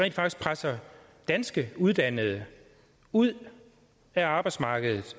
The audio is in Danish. presser danske uddannede ud af arbejdsmarkedet